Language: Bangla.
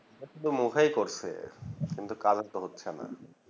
শুধু মুখেই করছে কিন্তু কাজে তো হচ্ছে না